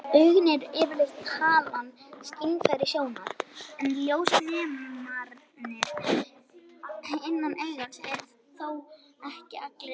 Augun eru yfirleitt talin skynfæri sjónar, en ljósnemarnir innan augans eru þó ekki allir eins.